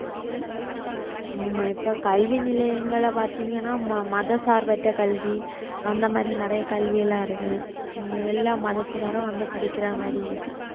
ஆமா இப்ப கல்வி நிலையங்களை பார்த்தீங்கன்னா ம~ மத சார்பற்ற கல்வி அந்த மாதிரி நிறைய கல்வி எல்லாம் இருக்கு எல்லா மதத்தினரும் வந்து படிக்கிற மாதிரி இருக்கு